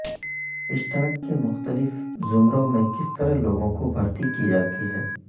stock کے مختلف زمروں میں کس طرح لوگوں کو بھرتی کی جاتی ہے